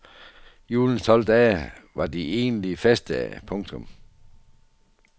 Julens tolv dage var de egentlige festdage. punktum